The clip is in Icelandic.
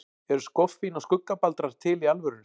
Eru skoffín og skuggabaldrar til í alvörunni?